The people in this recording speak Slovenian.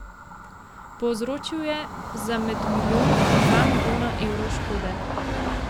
Povzročil je za med milijon in dva milijona evrov škode.